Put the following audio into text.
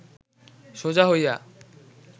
সোজা হইয়া